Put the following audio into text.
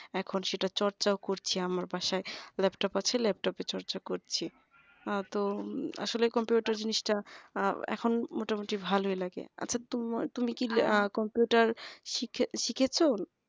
এখন সেটা চর্চাও করছে আমার বাসায় laptop আছে laptop এ চর্চা করছি আর তো আসলে কম্পিউটার জিনিসটা আহ এখন মোটামুটি ভালই লাগে আচ্ছা তুমি কি কম্পিউটার শিখে শিখেছো